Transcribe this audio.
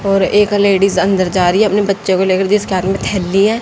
और एक लेडिस अंदर जा रही है अपने बच्चे को लेकर जिसके हाथ में थैली है।